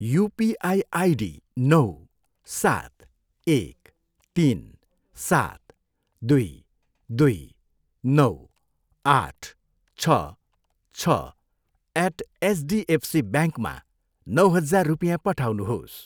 UPI ID नौ, सात, एक, तिन, सात, दुई, दुई, नौ, आठ, छ, छ, एट एचडिएफसीब्याङ्कमा नौ हजार रुपियाँ पठाउनुहोस्।